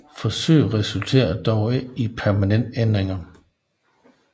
Forsøget resulterede dog ikke i permanente ændringer